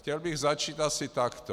Chtěl bych začít asi takto.